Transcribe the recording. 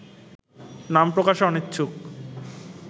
নামপ্রকাশে অনিচ্ছুক